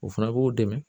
O fana b'u dɛmɛ